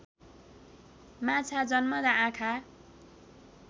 माछा जन्मँदा आँखा